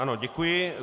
Ano, děkuji.